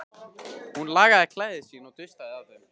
Hún lagaði klæði sín og dustaði af þeim.